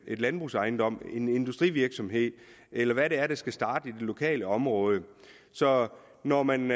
landbrugsejendom en industrivirksomhed eller hvad det er der skal starte i det lokale område så når man